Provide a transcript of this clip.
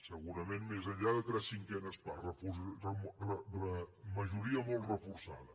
segurament més enllà de tres cinquenes parts majoria molt reforçada